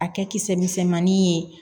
A kɛ kisɛ misɛnmanin ye